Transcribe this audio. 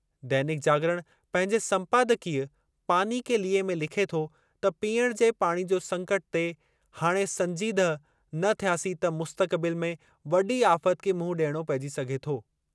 दैनिक जागरण पंहिंजे सम्पादकीय "पानी के लिए" में लिखे थो त पीअणु जे पाणी जो संकट ते हाणे संजीदह न थियासीं त मुख़्तक़बिल में वॾी आफ़त खे मुंहुं ॾियणो पेइजी सघे थो।